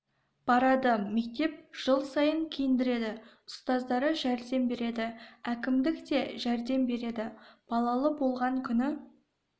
барады мектеп жыл сайын киіндіреді ұстаздары жәрдем береді әкімдік те жәрдем береді балалы болған күні